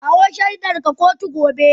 Kawo shaidarka kotu gobe.